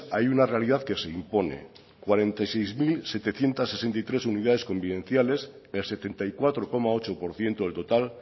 hay una realidad que se impone cuarenta y seis mil setecientos sesenta y tres unidades convivenciales el setenta y cuatro coma ocho por ciento del total